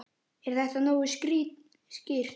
Er þetta nógu skýrt?